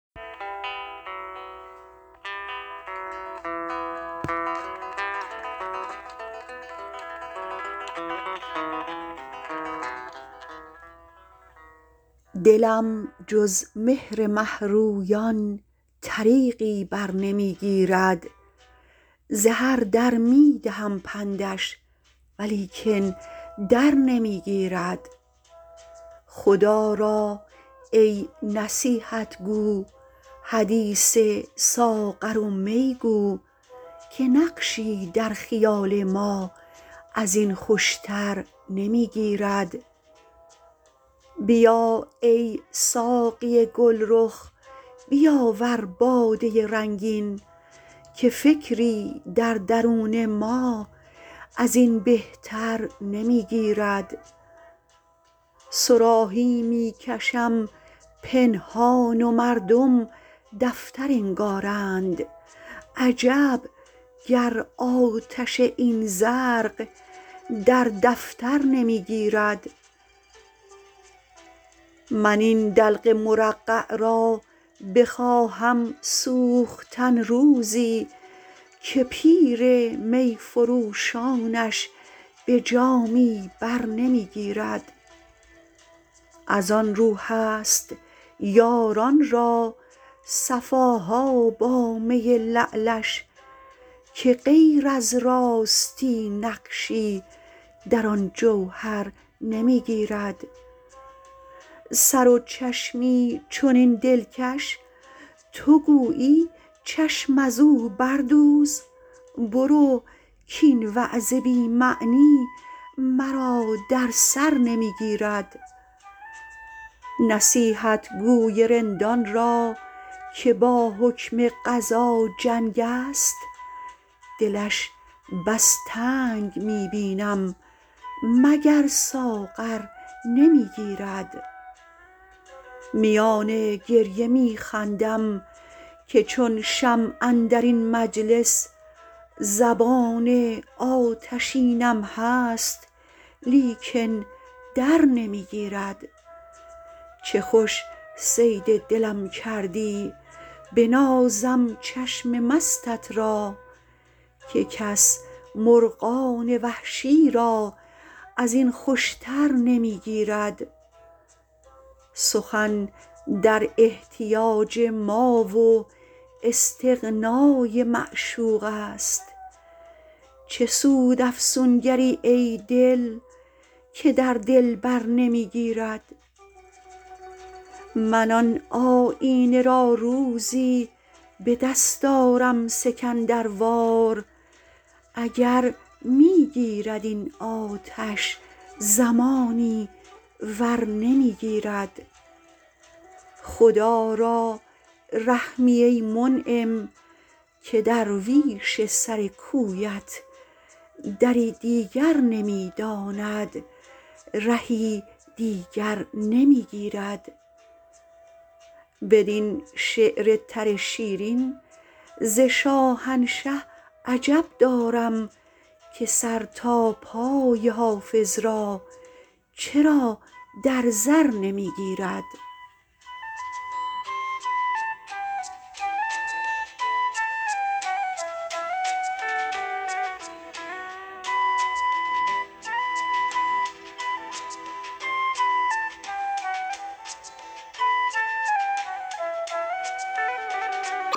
دلم جز مهر مه رویان طریقی بر نمی گیرد ز هر در می دهم پندش ولیکن در نمی گیرد خدا را ای نصیحت گو حدیث ساغر و می گو که نقشی در خیال ما از این خوش تر نمی گیرد بیا ای ساقی گل رخ بیاور باده رنگین که فکری در درون ما از این بهتر نمی گیرد صراحی می کشم پنهان و مردم دفتر انگارند عجب گر آتش این زرق در دفتر نمی گیرد من این دلق مرقع را بخواهم سوختن روزی که پیر می فروشانش به جامی بر نمی گیرد از آن رو هست یاران را صفا ها با می لعلش که غیر از راستی نقشی در آن جوهر نمی گیرد سر و چشمی چنین دلکش تو گویی چشم از او بردوز برو کاین وعظ بی معنی مرا در سر نمی گیرد نصیحتگو ی رندان را که با حکم قضا جنگ است دلش بس تنگ می بینم مگر ساغر نمی گیرد میان گریه می خندم که چون شمع اندر این مجلس زبان آتشینم هست لیکن در نمی گیرد چه خوش صید دلم کردی بنازم چشم مستت را که کس مرغان وحشی را از این خوش تر نمی گیرد سخن در احتیاج ما و استغنا ی معشوق است چه سود افسونگر ی ای دل که در دلبر نمی گیرد من آن آیینه را روزی به دست آرم سکندر وار اگر می گیرد این آتش زمانی ور نمی گیرد خدا را رحمی ای منعم که درویش سر کویت دری دیگر نمی داند رهی دیگر نمی گیرد بدین شعر تر شیرین ز شاهنشه عجب دارم که سر تا پای حافظ را چرا در زر نمی گیرد